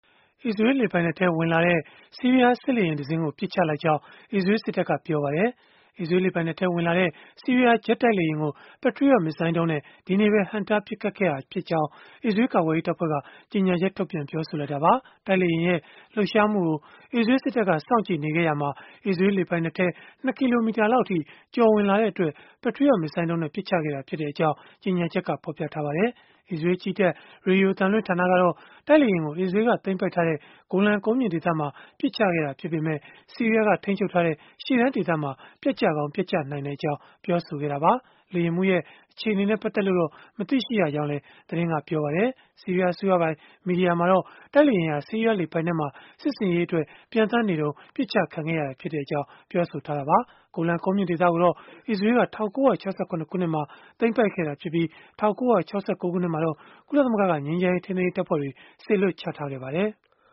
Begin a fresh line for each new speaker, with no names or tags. အစ္စရေးလ် လေပိုင်နက်ထဲ ဝင်လာတဲ့ ဆီးရီးယား စစ်လေယာဉ်တစင်းကို ပစ်ချလိုက်ကြောင်း အစ္စရေးလ်စစ်တပ်က ပြောလိုက်ပါတယ်။ အစ္စရေးလ် လေပိုင်နက်ထဲ ဝင်လာတဲ့ ဆီးရီးယား ဂျက်တိုက်လေယာဉ်ကို Patriot မစ်ဇိုင်းဒုံးနဲ့ ဒီနေ့ပဲ ဟန့်တားပစ်ခတ်ခဲ့ကြောင်း အစ္စရေးလ်ကာကွယ်ရေး တပ်ဖွဲ့က ကြေညာချက်ထုတ်ပြန် ပြောဆိုလိုက်တာပါ။ တိုက်လေယာဉ်ရဲ့ လှုပ်ရှားမှုကို အစ္စရေးလ်စစ်တပ်က စောင့်ကြည့်နေခဲ့ရာမှာ အစ္စရေးလ် လေပိုင်နက်ထဲ ၂ ကီလိုမီတာလောက်အထိ ကျော်ဝင်လာတဲ့အတွက် Patriot မစ်ဇိုင်းဒုံးနဲ့ ပစ်ချခဲ့ကြောင်း ကြေညာချက်မှာ ဖော်ပြခဲ့ပါတယ်။ အစ္စရေးလ်ကြည်းတပ် ရေဒီယိုအသံလွှင့်ဌာနကတော့ တိုက်လေယာဉ်ကို အစ္စရေးလ်က သိမ်းပိုက်ထားတဲ့ ဂိုလန်ကုန်းမြင့်ဒေသမှာ ပစ်ချခဲ့တာ ဖြစ်ပေမဲ့ ဆီးရီးယားက ထိန်းချုပ်ထားတဲ့ ရှေ့တန်းဒေသမှာ ပျက်ကျကောင်း ပျက်ကျနိုင်ကြောင်း ပြောဆိုခဲ့တာပါ။ လေယာဉ်မှူးရဲ့ အခြေအနေနဲ့ ပတ်သက်လို့တော့ မသိရကြောင်းလည်း သတင်းက ပြောဆိုခဲ့ပါတယ်။ ဆီးရီးယားအစိုးရပိုင် မီဒီယာမှာတော့ တိုက်လေယာဉ်ဟာ ဆီးရီးယားလေပိုင်နက်မှာ စစ်ဆင်ရေးအတွက် ပျံသန်းနေစဉ် ပစ်ချခံခဲ့ရကြောင်း ပြောဆိုခဲ့တာပါ။ ဂိုလန်ကုန်းမြင့်ဒေသကိုတော့ အစ္စရေးလ်က ၁၉၆၇ ခုနှစ်မှာ သိမ်းပိုက်ခဲ့တာဖြစ်ပြီး၊ ၁၉၆၉ ခုနှစ်မှာတော့ ကုလသမဂ္ဂက ငြိမ်းချမ်းရေး ထိန်းသိမ်းရေး တပ်ဖွဲ့တွေ စေလွှတ်ချထားခဲ့ပါတယ်။